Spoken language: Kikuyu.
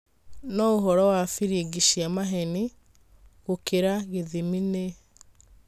No ũhoro wa biring'i cia maheni gũkĩra gĩthimi nĩ